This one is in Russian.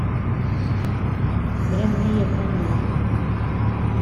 дрянные промоутеры